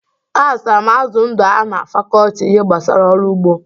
A zụtara m azụ ndụ a na fakọlti ihe gbasara ọrụ ụgbọ.